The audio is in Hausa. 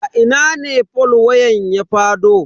A ina ne fol wayan ya fado.